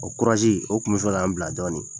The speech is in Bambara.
O korazi o kun bɛ fɛ k'an bila dɔɔnin.